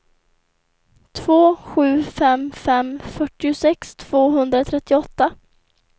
två sju fem fem fyrtiosex tvåhundratrettioåtta